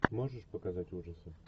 можешь показать ужасы